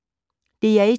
DR1